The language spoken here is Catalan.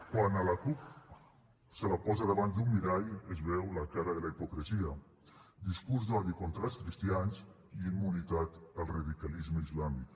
quan a la cup se la posa davant d’un mirall es veu la cara de la hipocresia discurs d’odi contra els cristians i immunitat al radicalisme islàmic